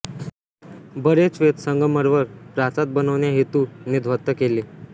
बरेच श्वेत संगमरवर प्रासाद बनवण्या हेतु ने ध्वस्त केले